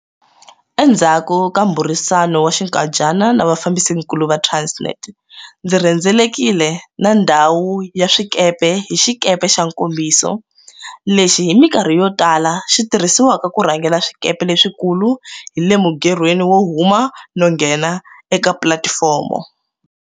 Endzhaku ka mbhurisano wa xinkadyana na vafambisinkulu va Transnet, ndzi rhendzelekile na ndhawu ya swikepe hi xikepe xa nkombiso, lexi hi mikarhi yo tala xi tirhisiwaka ku rhangela swikepe leswikulu hi le mugerhweni wo huma no nghena eka pulatifomo.